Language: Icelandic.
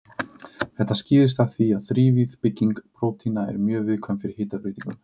Þetta skýrist af því að þrívíð bygging prótína er mjög viðkvæm fyrir hitabreytingum.